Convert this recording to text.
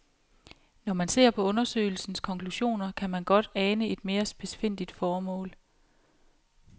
Når man ser på undersøgelsens konklusioner, kan man godt ane et mere spidsfindigt formål.